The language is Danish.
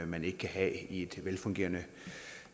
man ikke kan have i et velfungerende